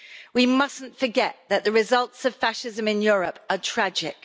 We mustn't forget that the results of fascism in Europe are tragic.